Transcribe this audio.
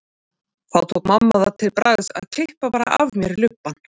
Þá tók mamma það til bragðs að klippa bara af mér lubbann.